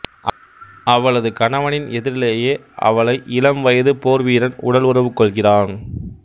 அவளது கணவனின் எதிரிலேயே அவளை இளம்வயது போர்வீரன் உடல் உறவு கொள்கிறான்